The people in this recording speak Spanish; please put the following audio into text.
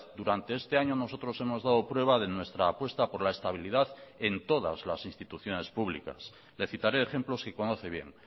durante este año nosotros hemos dado prueba de nuestra apuesta por la estabilidad en todas las instituciones públicas le citaré ejemplos que conoce bien